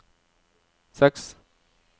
seks